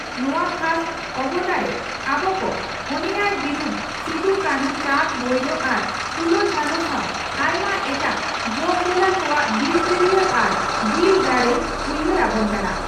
ᱱᱚᱣᱟ ᱠᱷᱟᱥ ᱚᱵᱚᱛᱟᱨᱮ ᱟᱵᱚ ᱠᱚ ᱚᱱᱮᱭᱟᱭ ᱵᱤᱨᱩᱫᱽ ᱥᱤᱫᱚᱼᱠᱟᱹᱱᱦᱩ, ᱪᱟᱸᱫᱽᱼᱵᱷᱟᱭᱨᱚ ᱟᱨ ᱯᱷᱩᱞᱚ ᱡᱷᱟᱱᱚ ᱥᱟᱶ ᱟᱭᱢᱟ ᱮᱴᱟᱜ ᱡᱚᱜᱽᱫᱷᱚᱞᱟ ᱠᱚᱣᱟᱜ ᱫᱤᱞᱜᱟᱹᱨᱤᱭᱟᱹ ᱟᱨ ᱫᱤᱞ ᱫᱟᱲᱮᱭ ᱩᱭᱦᱟᱨ ᱟᱵᱚᱱ ᱠᱟᱱᱟ ᱾